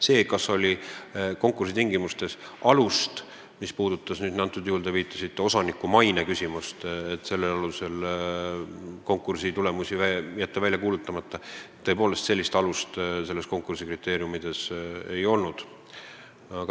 Kui küsida, kas konkursi tingimustes oli alust, mis lubanuks jätta konkursi tulemused välja kuulutamata – te viitasite osaniku mainele –, siis seda kriteeriumides ei olnud.